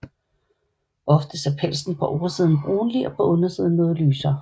Oftest er pelsen på oversiden brunlig og på undersiden noget lysere